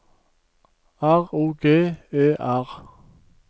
R O G E R